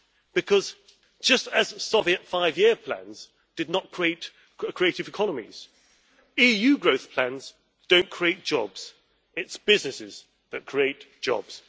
Because, just as Soviet five year plans did not create creative economies, EU growth plans do not create jobs it is businesses that create jobs.